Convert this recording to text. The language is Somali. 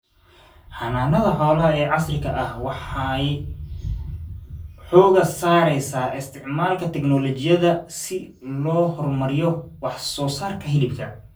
Xanaanada xoolaha ee casriga ah waxay xooga saaraysaa isticmaalka tignoolajiyada si loo horumariyo wax soo saarka hilibka.